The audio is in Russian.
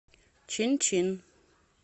чин чин